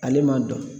Ale man dɔn